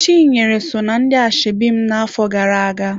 Chinyere so ná ndị ashebi m na-afọ gara-aga.